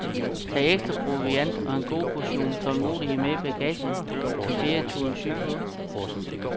Tag ekstra proviant og en god portion tålmodighed med i bagagen til ferieturen sydpå.